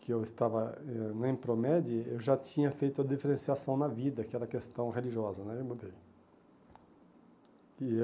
que eu estava eh na Impromede, eu já tinha feito a diferenciação na vida, que era a questão religiosa né, e mudei. E